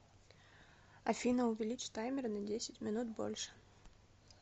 афина увеличь таймер на десять минут больше